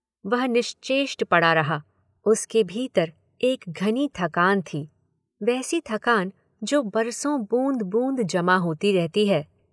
वह निश्चेष्ट पड़ा रहा, उसके भीतर एक घनी थकान थी, वैसी थकान जो बरसों बूंद-बूंद जमा होती रहती है।